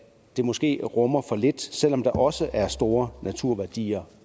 det måske rummer for lidt selv om der også er store naturværdier